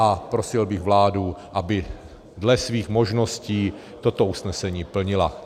A prosil bych vládu, aby dle svých možností toto usnesení plnila.